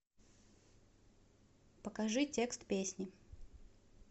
покажи текст песни